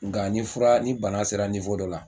Nga ni fura ni bana sera dɔ la